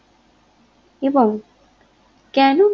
এবং কেন